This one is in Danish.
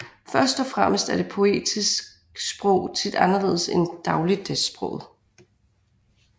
Første og fremmest er det poetiske sprog tit anderledes end dagligdagssproget